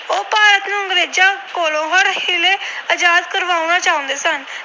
ਆਜਾਦ ਕਰਵਾਉਣਾ ਚਾਹੁੰਦੇ ਸਨ।